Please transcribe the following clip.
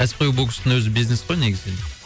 кәсіпқой бокстың өзі бизнес қой негізінен